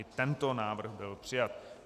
I tento návrh byl přijat.